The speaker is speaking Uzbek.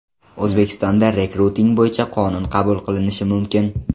O‘zbekistonda rekruting bo‘yicha qonun qabul qilinishi mumkin.